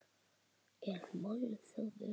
Er málþófi lokið?